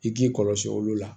I k'i kɔlɔsi olu la